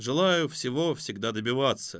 желаю всего всегда добиваться